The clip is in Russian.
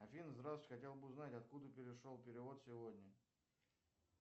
афина здравствуйте хотел бы узнать откуда пришел перевод сегодня